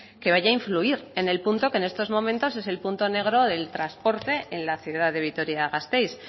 que vaya a influir en el punto que en estos momentos es el punto negro del transporte en la ciudad de vitoria gasteiz